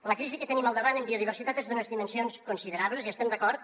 la crisi que tenim al davant en biodiversitat és d’unes dimensions considerables hi estem d’acord